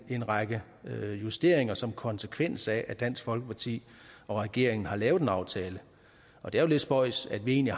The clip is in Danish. en række justeringer som konsekvens af at dansk folkeparti og regeringen har lavet en aftale det er jo lidt spøjst at vi egentlig